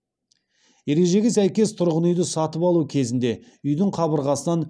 ережеге сәйкес тұрғын үйді сатып алу кезінде үйдің қабырғасынан